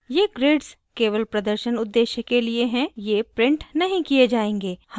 ये grids केवल प्रदर्शन उद्देश्य के लिए हैं ये printed नहीं किये जायेंगे